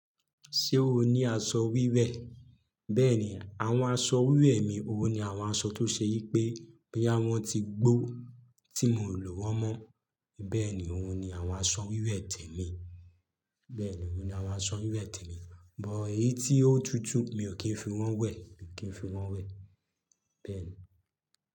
Ṣé o ní aṣọ wíwẹ̀? Bẹ́ẹ̀ni, àwọn aṣọ wíwẹ̀ mi, òun ni àwọn aṣọ tó ṣe yí pé bí àwọn ti gbó tí mò lò wọ́n mọ́. Bẹ́ẹ̀ni, òun ni àwọn aṣọ wíwẹ̀ tẹ́ mi. Bẹ́ẹ̀ni, òun ni àwọn aṣọ wíwẹ̀ tẹ́ mi. Buy èyí tí ó tutù mi ò kì í fi wọ́n wẹ̀, mi ò kì í fi wọ́n wẹ̀, bẹ́ẹ̀ni.